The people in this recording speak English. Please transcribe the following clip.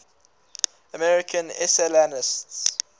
american essayists